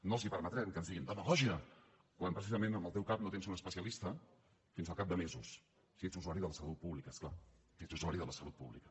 no els permetrem que ens diguin demagògia quan precisament en el teu cap no tens un especialista fins al cap de mesos si ets usuari de la salut pública és clar si ets usuari de la salut pública